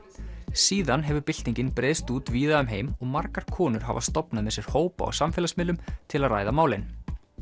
síðan hefur byltingin breiðst út víða um heim og margar konur hafa stofnað með sér hópa á samfélagsmiðlum til að ræða málin